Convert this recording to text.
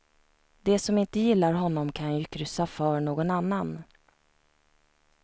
De som inte gillar honom kan ju kryssa för någon annan.